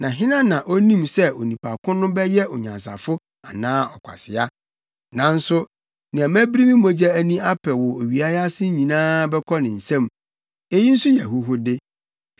Na hena na onim sɛ onipa ko no bɛyɛ onyansafo anaa ɔkwasea? Nanso nea mabiri me mogya ani apɛ wɔ owia yi ase nyinaa bɛkɔ ne nsam. Eyi nso yɛ ahuhude.